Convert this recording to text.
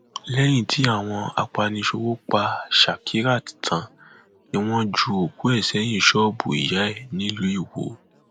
lẹyìn tí àwọn apaniṣòwò pa shakirat tán ni wọn ju òkú ẹ sẹyìn ṣọọbù ìyá ẹ nílùú iwọ